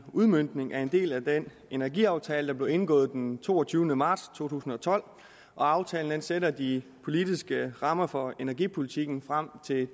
udmøntning af en del af den energiaftale der blev indgået den toogtyvende marts to tusind og tolv og aftalen sætter de politiske rammer for energipolitikken frem til